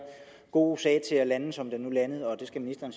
gode sag til at lande som den nu landede og det skal ministeren